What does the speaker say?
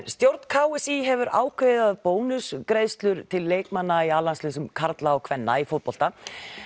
stjórn k s í hefur ákveðið að bónusgreiðslur til leikmanna í a landsliðum karla og kvenna í fótbolta